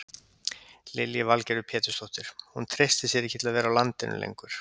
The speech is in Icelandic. Lillý Valgerður Pétursdóttir: Hún treystir sér ekki til að vera á landinu lengur?